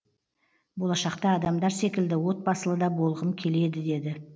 болашақта адамдар секілді отбасылы да болғым келеді деді